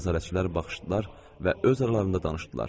Nəzarətçilər baxışdılar və öz aralarında danışdılar.